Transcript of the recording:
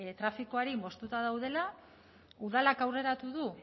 trafikoari moztuta daudela udalak aurreratu du